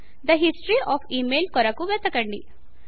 తే history of email కొరకు వెతకండి